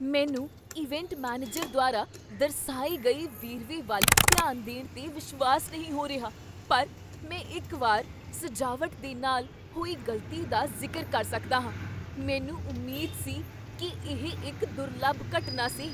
ਮੈਨੂੰ event manager ਦੁਆਰਾ ਦਰਸਾਏ ਗਏ ਵੇਰਵੇ ਵੱਲ ਧਿਆਨ ਦੇਣ 'ਤੇ ਵਿਸ਼ਵਾਸ ਨਹੀਂ ਹੋ ਰਿਹਾ, ਪਰ ਮੈਂ ਇੱਕ ਵਾਰ ਸਜਾਵਟ ਦੇ ਨਾਲ ਹੋਈ ਗ਼ਲਤੀ ਦਾ ਜ਼ਿਕਰ ਕਰ ਸਕਦਾ ਹਾਂ। ਮੈਨੂੰ ਉਮੀਦ ਸੀ ਕੀ ਇਹ ਇੱਕ ਦੁਰਲੱਭ ਘਟਨਾ ਸੀ।